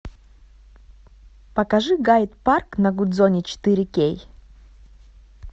покажи гайд парк на гудзоне четыре кей